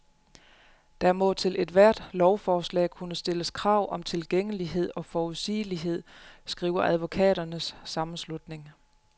Der må til ethvert lovforslag kunne stilles krav om tilgængelighed og forudsigelighed, skriver advokaternes sammenslutning.